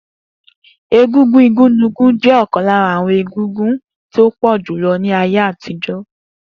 Egúngún igunnuko je okan lara awon egúngún to pojulo julo ni aye atijo.